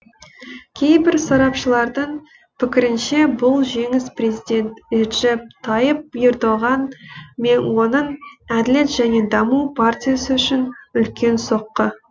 кейбір сарапшылардың пікірінше бұл жеңіс президент реджеп тайып ердоған мен оның әділет және даму партиясы үшін үлкен соққы